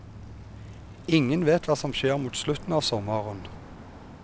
Ingen vet hva som skjer mot slutten av sommeren.